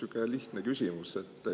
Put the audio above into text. Üks sihuke lihtne küsimus.